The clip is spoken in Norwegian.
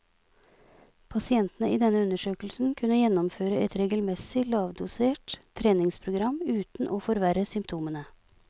Pasientene i denne undersøkelsen kunne gjennomføre et regelmessig, lavdosert treningsprogram uten å forverre symptomene.